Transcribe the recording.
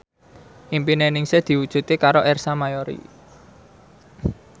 impine Ningsih diwujudke karo Ersa Mayori